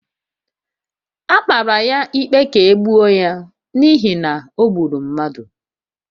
A mara ya ikpe ka e gbuo ya n’ihi na o gburu mmadụ